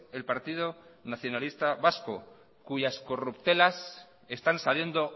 el partido nacionalista vasco cuyas corruptelas están saliendo